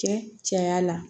Cɛ caya la